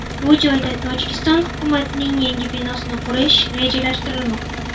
Bu joyda Tojikiston hukumatining yangi binosini qurish rejalashtirilmoqda.